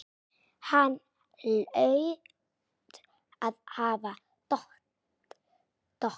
Hann hlaut að hafa dottað.